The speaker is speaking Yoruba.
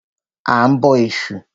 A ń bọ Ẹ̀sù.